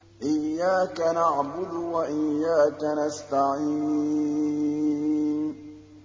إِيَّاكَ نَعْبُدُ وَإِيَّاكَ نَسْتَعِينُ